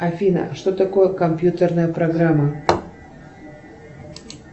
афина что такое компьютерная программа